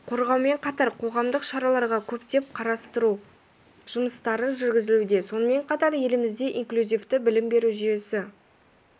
қорғаумен қатар қоғамдық шараларға көптеп қатыстыру жұмыстары жүргізілуде сонымен қатар елімізде инклюзивті білім беру жүйесі